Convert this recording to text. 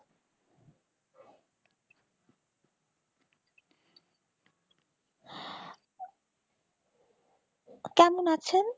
কেমন আছেন?